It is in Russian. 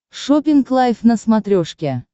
шоппинг лайв на смотрешке